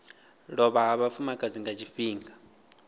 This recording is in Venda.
lovha ha vhafumakadzi nga tshifhinga